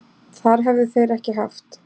Það hefðu þeir ekki haft